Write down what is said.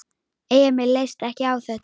Emil leist ekki á þetta.